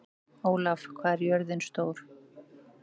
Ólaf, hvað er jörðin stór?